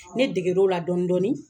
Ne degerola dɔɔnin dɔɔnin.